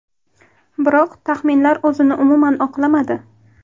Biroq taxminlar o‘zini umuman oqlamadi.